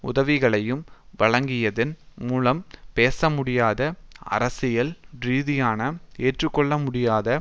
உதவிகளையும் வழங்கியதன் மூலம் பேசமுடியாத அரசியல் ரீதியாக ஏற்றுக்கொள்ளமுடியாத